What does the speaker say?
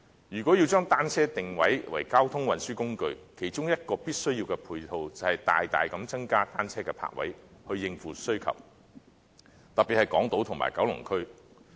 如果要將單車定位為交通運輸工具，其中一種必需的配套，便是大大增加單車泊位，以應付需求，特別是在港島區和九龍區。